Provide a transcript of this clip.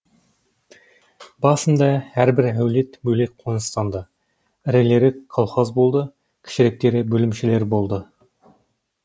басында әрбір әулет бөлек қоныстанды ірілері колхоз болды кішіректері бөлімшелер болды